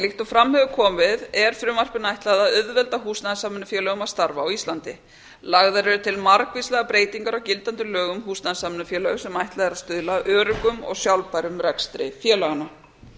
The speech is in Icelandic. líkt og fram hefur komið er frumvarpinu ætlað að auðvelda húsnæðissamvinnufélögum að starfa á íslandi lagðar eru til margvíslegar breytingar á gildandi lögum um húsnæðissamvinnufélög sem ætlað er að stuðla að öruggum og sjálfbærum rekstri félaganna